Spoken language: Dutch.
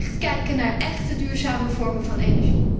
We moeten kijken naar echt duurzame vormen van energie.